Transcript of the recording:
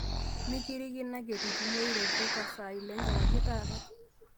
mikirikino ake eitu itumore reveca saa ile enkewarie taata